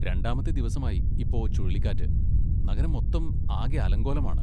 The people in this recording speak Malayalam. രണ്ടാമത്തെ ദിവസമായി ഇപ്പോ ചുഴലിക്കാറ്റ്, നഗരം മൊത്തം ആകെ അലങ്കോലമാണ്.